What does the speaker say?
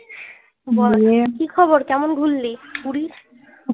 কি খবর কেমন ঘুরলি পুরী?